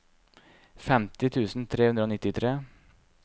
femti tusen tre hundre og nittitre